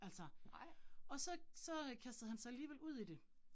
Altså og så så øh kastede han sig alligevel ud i det